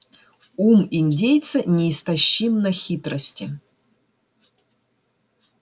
ум индейца неистощим на хитрости